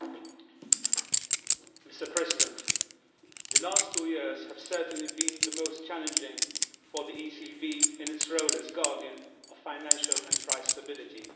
Mr President, the last two years have certainly been the most challenging for the ECB, in its role as guardian of financial and price stability, since its inception.